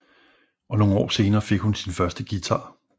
Og nogle år senere fik hun sin første guitar